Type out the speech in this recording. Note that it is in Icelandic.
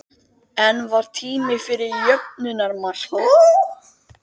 En var tími fyrir jöfnunarmark?